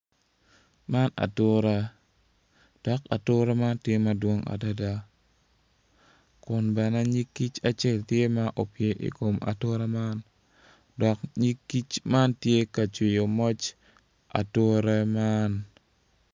Man atura dok atura man tye madwong adada kun bene nyig kic acel tye ma opye i kom atura man dok nyig kic man tye ka cwiyo moc ature man.